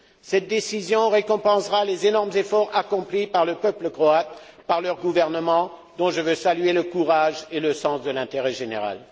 Cette décision récompensera les énormes efforts accomplis par le peuple croate, par son gouvernement, dont je veux saluer le courage et le sens de l'intérêt général.